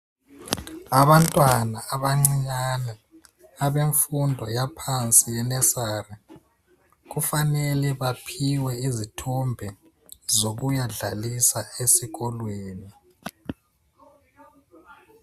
Abantwana abancinyane abemfundo yaphansi i-nursery kufanele baphiwe izithombe zokuyadlalisa esikolweni.